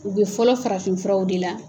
U bɛ fɔlɔ farafin furaw de la